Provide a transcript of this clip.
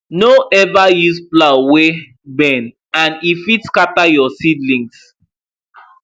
no ever use plow wey bend and e fit scatter your seedlings